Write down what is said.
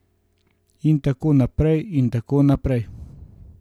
In tako naprej in tako naprej.